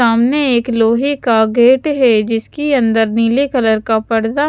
सामने एक लोहे का गेट है जिसके अंदर नीले कलर का परदा --